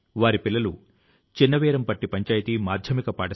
తెలుగు భాష ను లోతు గా అధ్యయనం చేశారు